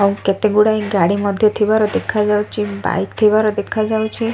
ଆଉ କେତେ ଗୁଡିଏ ଗାଡି ମଧ୍ଯ ଥିବାର ଦେଖାଯାଉଅଛି ବାଇକ ଥିବାର ଦେଖାଯାଉଛି।